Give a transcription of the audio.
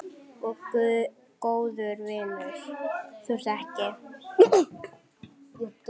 Og góður vinur.